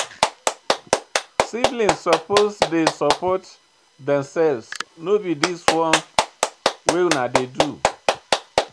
Siblings suppose dey support demselves, no be dis one wey una dey do.